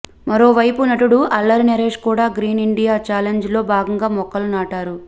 మరోవైపు నటుడు అల్లరి నరేష్ కూడా గ్రీన్ ఇండియా ఛాలెంజ్లో భాగంగా మొక్కలు నాటారు